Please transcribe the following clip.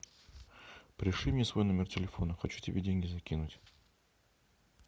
пришли мне свой номер телефона хочу тебе деньги закинуть